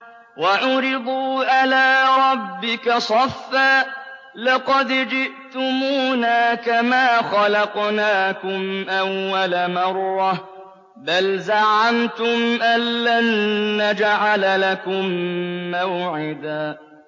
وَعُرِضُوا عَلَىٰ رَبِّكَ صَفًّا لَّقَدْ جِئْتُمُونَا كَمَا خَلَقْنَاكُمْ أَوَّلَ مَرَّةٍ ۚ بَلْ زَعَمْتُمْ أَلَّن نَّجْعَلَ لَكُم مَّوْعِدًا